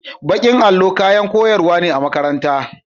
Bakin allo kayan koyarwa ne a makaranta.